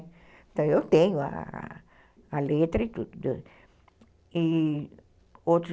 Então, eu tenho a a letra e tudo, e